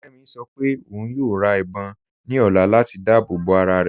Kẹ́mí ṣọ́ pẹ ọ̀un yóò rá ìbọn ní ọ̀là latí dáàbòbọ arárẹ.